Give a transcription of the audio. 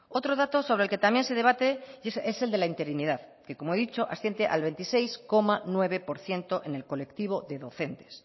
otro dato sobre el que también se debate y es el de la interinidad que como he dicho asciende al veintiséis coma nueve por ciento en el colectivo de docentes